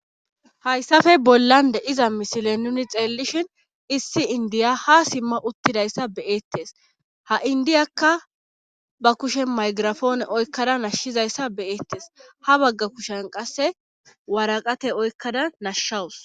hayssafe bollande iza misile nuni xeellishin issi indiya ha simma uttidayssa beeettes ha indiyakka ba kushe maygirafoone oykkada nashshizayssa beyeettes ha bagga kushen qasse waraqate oykkada nashshawus